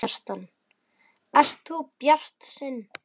Kjartan: Ert þú bjartsýnn?